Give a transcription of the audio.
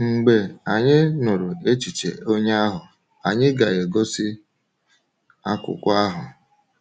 Mgbe anyị nụrụ echiche onye ahụ, anyị na-egosi akwụkwọ ahụ.